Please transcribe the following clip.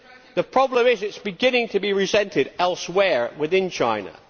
The problem is it is beginning to be resented elsewhere within China.